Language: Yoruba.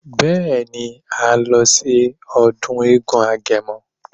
Beeni, à ń lọ sí ọdún eégún agẹmọ.